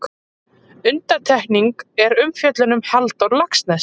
Undantekning er umfjöllun um Halldór Laxness.